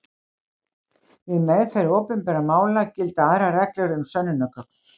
Við meðferð opinbera mála gilda aðrar reglur um sönnunargögn.